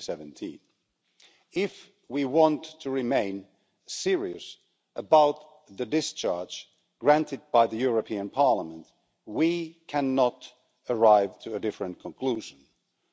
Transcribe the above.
2017. If we want to remain serious about the discharge granted by the European Parliament, we cannot arrive at a different conclusion